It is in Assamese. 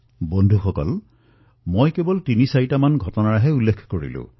বন্ধুসকল মই আপোনালোকক কেৱল তিনিটা ঘটনাৰ বিষয়ে জনালো